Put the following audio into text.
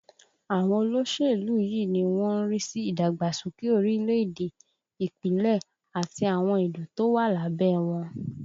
Àwọn olóṣèlú yìí ni wọ́n ń rí sí ìdàgbàsókè orílẹ̀ èdè, Ìpínlẹ̀, àti àwọn ìlú tó wà lábẹ́ ẹ wọn